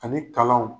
Ani kalanw